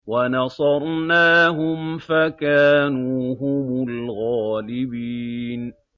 وَنَصَرْنَاهُمْ فَكَانُوا هُمُ الْغَالِبِينَ